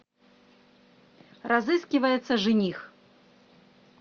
разыскивается жених